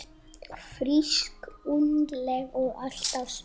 Frísk, ungleg og alltaf smart.